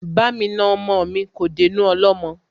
Bá mi na ọmọ mi, kò dénú ọlọ́mọ